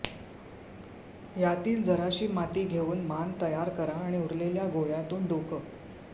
यातील जराशी माती घेऊन मान तयार करा आणि उरलेल्या गोळ्यातून डोकं